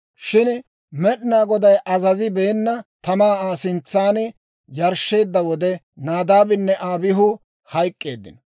Shin Med'inaa Goday azazibeena tamaa Aa sintsan yarshsheedda wode, Naadaabinne Abihu hayk'k'eeddino.